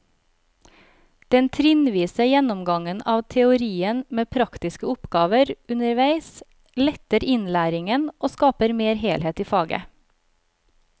Den trinnvise gjennomgangen av teorien med praktiske oppgaver underveis letter innlæringen og skaper mer helhet i faget.